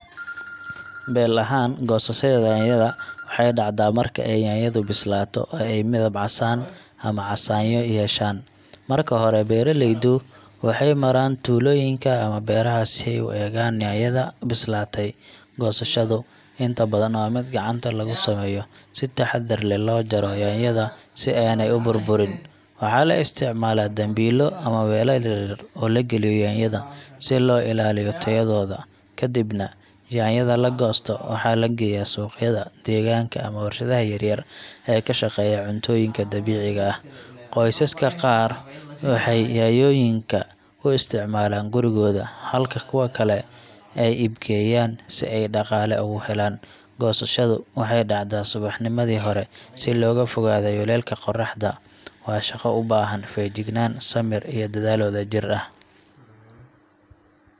Beel ahaan, goosashada yaanyada waxay dhacdaa marka ay yaanyadu bislaato oo ay midab casaan ama casaanyo yeeshaan. Marka hore, beeraleydu waxay maraan tuulooyinka ama beeraha si ay u eegaan yaanyada bislaatay. Goosashadu inta badan waa mid gacanta lagu sameeyo, si taxaddar leh loo jaro yaanyada si aanay u burburin. Waxaa la isticmaalaa dambiilo ama weelal yar yar oo la galiyo yaanyada, si loo ilaaliyo tayadooda. Kadibna, yaanyada la goosto waxaa la geeyaa suuqyada deegaanka ama warshadaha yar-yar ee ka shaqeeya cuntooyinka dabiiciga ah. Qoysaska qaar waxay yaanyooyinka u isticmaalaan gurigooda, halka kuwa kale ay iibgeeyaan si ay dhaqaale uga helaan. Goosashadu waxay dhacdaa subaxnimadii hore, si looga fogaado kulaylka qorraxda. Waa shaqo u baahan feejignaan, samir, iyo dadaal wadajir ah.